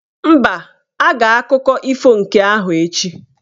Mba, a ga-akụkọ ifo nke ahụ echi.